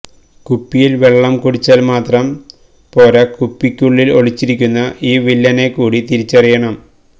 കുപ്പിയില് വെള്ളം കുടിച്ചാല് മാത്രം പോര കുപ്പിക്കുള്ളില് ഒളിച്ചിരിക്കുന്ന ഈ വില്ലനെ കൂടി തിരിച്ചറിയണം